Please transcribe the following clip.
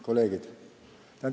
Kolleegid!